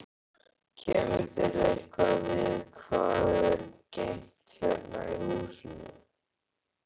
Kemur þér eitthvað við hvað er geymt hérna í húsinu?